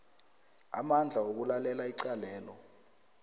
amandla wokulalela icalelo